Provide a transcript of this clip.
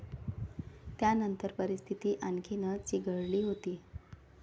त्यानंतर परिस्थिती आणखीनच चिघळली होती.